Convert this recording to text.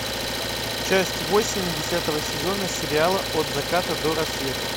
часть восемь десятого сезона сериала от заката до рассвета